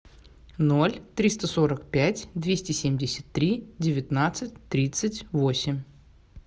ноль триста сорок пять двести семьдесят три девятнадцать тридцать восемь